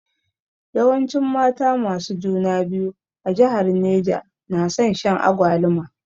Yawancin mata masu juna biyu a jihar Neja nason shan agwaluma